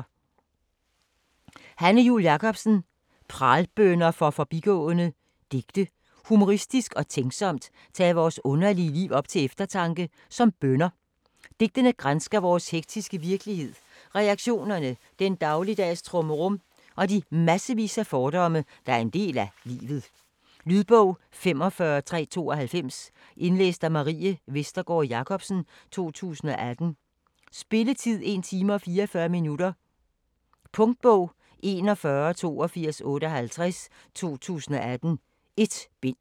Jul Jakobsen, Hanne: Pralbønner for forbigående Digte. Humoristisk og tænksomt tages vores underlige liv op til eftertanke, som bønner. Digtene gransker vores hektiske virkelighed, relationerne, den dagligdags trummerum og de massevis af fordomme, der er en del af livet. Lydbog 45392 Indlæst af Marie Vestergård Jacobsen, 2018. Spilletid: 1 time, 44 minutter. Punktbog 418258 2018. 1 bind.